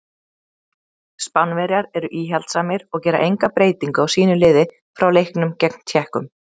Spánverjar eru íhaldssamir og gera enga breytingu á sínu liði frá leiknum gegn Tékkum.